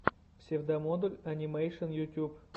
псевдомодуль анимэйшен ютюб